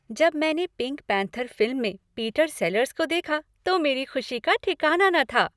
जब मैंने Pink Panther film में पीटर सेलर्स को देखा तो मेरी खुशी का ठिकाना न था।